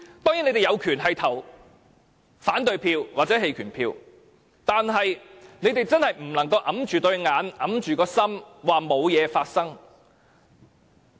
你們當然有權投反對票或棄權票，但卻真的不能閉起雙眼、埋沒良心地說沒事發生。